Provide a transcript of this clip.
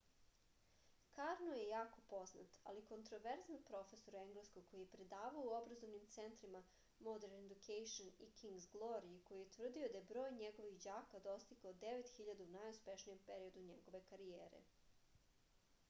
karno je jako poznat ali kontroverzan profesor engleskog koji je predavao u obrazovnim centrima modern education i king's glory i koji je tvrdio da je broj njegovih đaka dostigao 9000 u najuspešnijem periodu njegove karijere